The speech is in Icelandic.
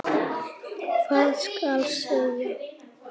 Hvað skal segja?